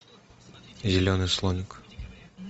зеленый слоник